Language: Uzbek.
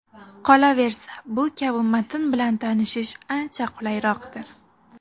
Qolaversa, bu kabi matn bilan tanishish ancha qulayroqdir.